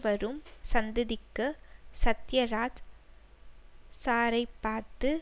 வரும் சந்ததிக்கு சத்தியராஜ் சாரைப் பார்த்து